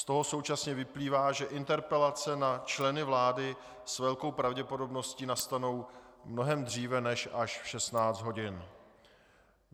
Z toho současně vyplývá, že interpelace na členy vlády s velkou pravděpodobností nastanou mnohem dříve než až v 16 hodin.